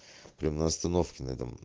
на остановке на этом